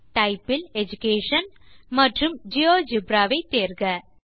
type இல் education மற்றும் GeoGebra ஐ தேர்க